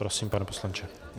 Prosím, pane poslanče.